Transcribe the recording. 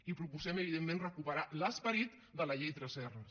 i proposem evidentment recuperar l’esperit de la llei tresserras